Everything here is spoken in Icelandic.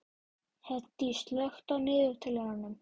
Hedí, slökktu á niðurteljaranum.